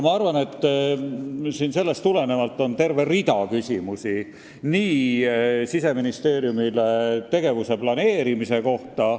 Sellest tulenevalt on meil terve rida küsimusi Siseministeeriumi tegevuse planeerimise kohta.